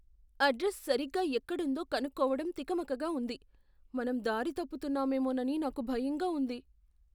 Address సరిగ్గా ఎక్కడుందో కనుక్కోవడం తికమకగా ఉంది. మనం దారి తప్పుతున్నామేమోనని నాకు భయంగా ఉంది.